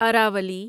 Aravalli